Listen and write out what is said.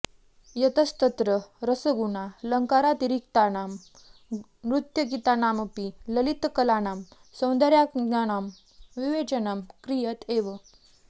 यतस्तत्र रसगुणालङ्कारातिरिक्तानां नृत्यगीतानामपि ललितकलानां सौन्दर्याङ्गानां विवेचनं क्रियत एव